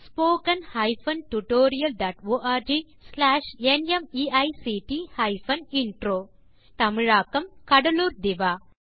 spoken hyphen tutorial dot org slash நிமைக்ட் hyphen intro தமிழாக்கம் கடலூர் திவா